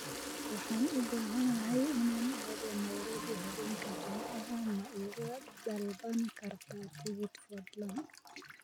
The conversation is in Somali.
waxaan u baahanahay inaan aado nairobi habeenka jimcaha ma iga dalban kartaa tigidh fadlan